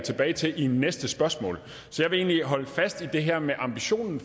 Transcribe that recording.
tilbage til i næste spørgsmål så jeg vil egentlig holde fast i det her med ambitionen